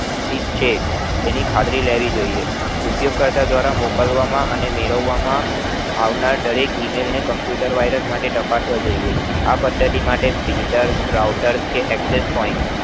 ઠીક છે તેની ખાતરી લેવી જોય્યે ઉપયોગકર્તા દ્વારા મોકલવામાં અને મેળવવામાં આવનાર દરેક computer virus માટે તપાસવા જોય્યે આ પદ્ધતિ માટે router access point